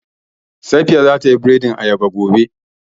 Safiya za ta yi biredin ayaba gobe